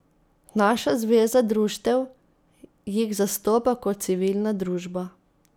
Naša zveza društev jih zastopa kot civilna družba.